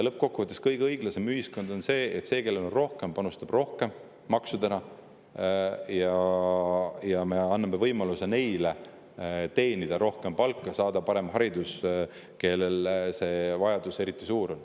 Lõppkokkuvõttes on kõige õiglasem ühiskond selline, kus see, kellel on rohkem, panustab maksudena rohkem, ja me anname neile, kellel see vajadus eriti suur on, võimaluse teenida rohkem palka ja saada paremat haridust.